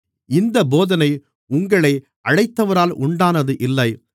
இந்தப் போதனை உங்களை அழைத்தவரால் உண்டானது இல்லை